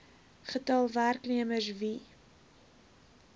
getal werknemers wie